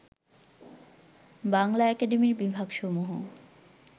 বাংলা একাডেমির বিভাগসমূহ